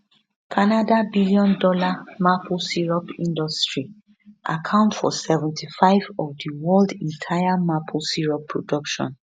canada billiondollar maple syrup industry account for 75 of di world entire maple syrup production